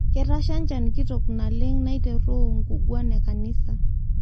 Ketasha njan kitok oleng neitaroo ngukwana enkanisa